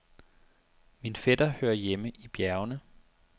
Min fætter hører hjemme i bjergene.